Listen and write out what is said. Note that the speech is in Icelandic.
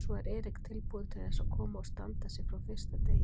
Svo er Eric tilbúinn til þess að koma og standa sig frá fyrsta degi?